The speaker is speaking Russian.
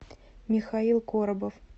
михаил коробов